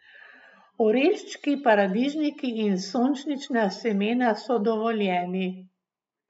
Oreščki, paradižniki in sončnična semena so dovoljeni.